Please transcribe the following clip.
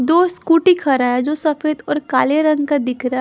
दो स्कूटी खड़ा है जो सफेद और काले रंग का दिख रहा--